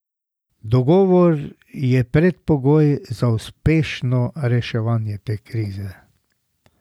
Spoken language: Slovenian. Dogovor je predpogoj za uspešno reševanje te krize.